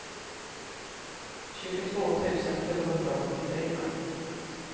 tjugotvå tusen sjuhundraåttiofyra